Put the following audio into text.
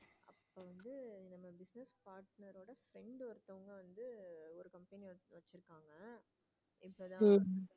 உம்